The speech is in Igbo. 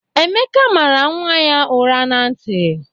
Emeka mara nwa ya ụra na ntị.